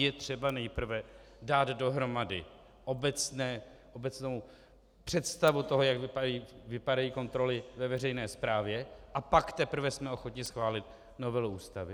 Je třeba nejprve dát dohromady obecnou představu toho, jak vypadají kontroly ve veřejné správě, a pak teprve jsme ochotni schválit novelu Ústavy.